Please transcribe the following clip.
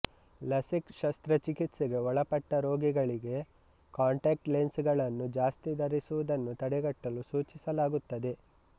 LASIK ಶಸ್ತ್ರಚಿಕಿತ್ಸೆಗೆ ಒಳಪಟ್ಟ ರೋಗಿಗಳಿಗೆ ಕಾಂಟಾಕ್ಟ್ ಲೆನ್ಸ್ ಗಳನ್ನು ಜಾಸ್ತಿ ಧರಿಸುವುದನ್ನು ತಡೆಗಟ್ಟಲು ಸೂಚಿಸಲಾಗುತ್ತದೆ